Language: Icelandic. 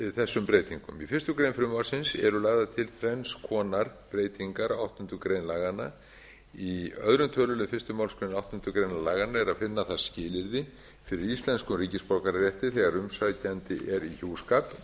þessum breytingum í fyrstu grein frumvarpsins eru lagðar til þrenns konar breytingar á áttundu grein laganna í öðrum tölulið fyrstu málsgrein áttundu grein laganna er að finna það skilyrði fyrir íslenskum ríkisborgararétti þegar umsækjandi er í hjúskap með